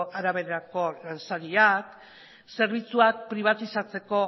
araberako ordainsariak zerbitzuak pribatizatzeko